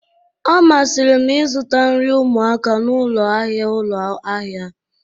ọ masịrị m ịzụta nri ụmụaka n'ụlọ ahịa ụlọ ahịa